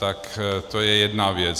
Tak to je jedna věc.